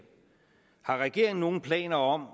har regeringen nogen planer om